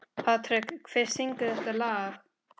Patrek, hver syngur þetta lag?